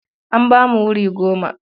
An ba mu wuri goma.